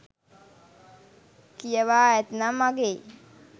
කියවා ඇත්නම් අගෙයි.